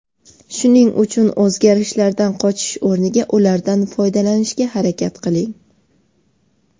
Shuning uchun o‘zgarishlardan qochish o‘rniga ulardan foydalanishga harakat qiling.